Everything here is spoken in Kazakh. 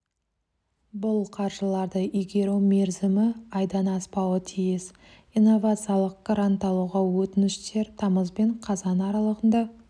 бұл қаржыларды игеру мерзімі айдан аспауы тиіс инновациялық грант алуға өтініштер тамыз бен қазан аралығында